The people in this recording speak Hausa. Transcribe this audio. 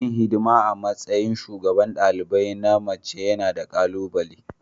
Yin hidima a matsayin shugaban dalibai na mace yana da ƙalubale.